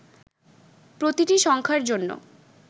প্রতিটি সংখার জন্য